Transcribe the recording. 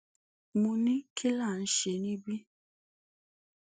mo ní kí là ń ṣe níbí